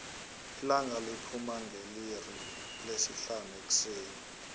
ilanga liphuma ngeliixi lesihlanu ekuseni